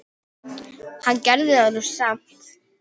Hann gerði það nú samt.